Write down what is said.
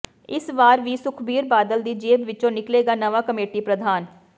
ਇਸ ਵਾਰ ਵੀ ਸੁਖਬੀਰ ਬਾਦਲ ਦੀ ਜੇਬ ਵਿੱਚੋਂ ਨਿਕਲੇਗਾ ਨਵਾਂ ਕਮੇਟੀ ਪ੍ਰਧਾਨ